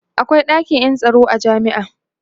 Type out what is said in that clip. akwai ɗakin Yan tsaro a jami'a